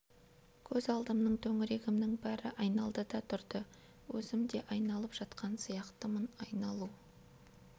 көз алдымның төңірегімнің бәрі айналды да тұрды өзім де айналып жатқан сияқтымын айналу